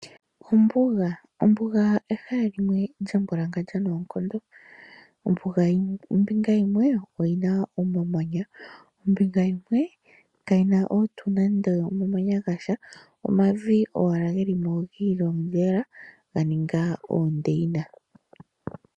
Ombuga, ombuga ehala limwe lyambwalangandja noonkondo. Ombuga ombinga yimwe oyina omamanya, ombinga yimwe kayina tuu nande omamanya gasha, omavi owala gelimo giilongela ganinga oondeyina.